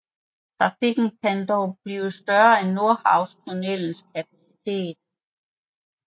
Trafikken kan dog blive større end Nordhavnstunnelens kapacitet